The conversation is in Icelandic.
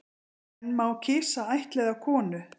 En má kisa ættleiða konu